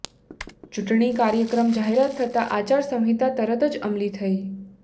ચૂંટણી કાર્યક્રમની જાહેરાત થતાં આચારસંહિતા તરત જ અમલી થઇ